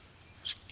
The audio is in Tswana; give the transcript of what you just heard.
go tla tswa mo go